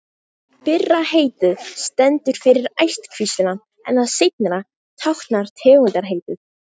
Fyrra heitið stendur fyrir ættkvíslina en það síðara táknar tegundarheitið.